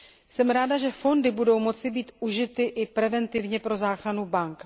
Jsem ráda, že fondy budou moci být užity i preventivně pro záchranu bank.